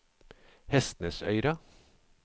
Hestnesøyra